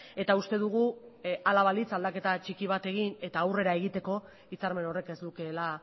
eta uste dugu ala balitz aldaketa txiki bat egin eta aurrera egiteko hitzarmen horrek ez lukeela